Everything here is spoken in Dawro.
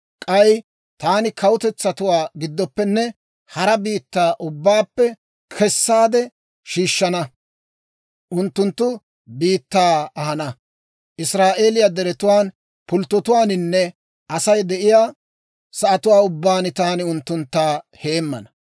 K'ay taani kawutetsatuwaa giddooppenne hara biittaa ubbaappe kessaade shiishshana; unttunttu biittaa ahana. Israa'eeliyaa deretuwaan, pulttotuwaaninne Asay de'iyaa sa'atuwaa ubbaan taani unttuntta heemmana.